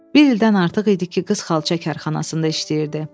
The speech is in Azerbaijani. Bir ildən artıq idi ki, qız xalça karxanasında işləyirdi.